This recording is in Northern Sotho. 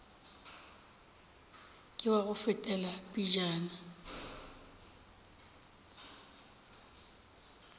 ke wa go fetela pejana